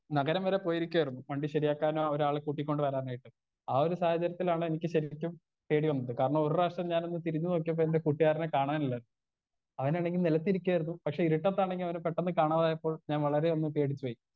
Speaker 1 നഗരം വരെ പോയിരിക്കായിരുന്നു വണ്ടി ശെരിയാക്കാനും ആ ഒരാളെ കൂട്ടി കൊണ്ട് വരാനായിട്ട് ആ ഒരു സാഹചര്യത്തിലാണ് എനിക്ക് ശെരിക്കും പേടി വന്നത് കാരണം ഒരു പ്രാവശ്യം ഞാനൊന്ന് തിരിഞ്ഞ് നോക്കിയപ്പൊ എന്റെ കൂട്ടുകാരനെ കാണാനില്ല അവനാണെങ്കി നെലത്തിരിക്കായിരുന്നു പക്ഷെ ഇരുട്ടത്താണെങ്കി അവനെ പെട്ടെന്ന് കാണാതായപ്പോൾ ഞാൻ വളരേ ഒന്ന് പേടിച്ച് പോയി.